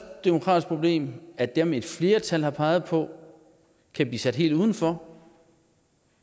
demokratiske problem at dem et flertal har peget på kan blive sat helt udenfor